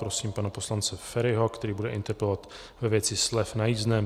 Prosím pana poslance Feriho, který bude interpelovat ve věci slev na jízdném.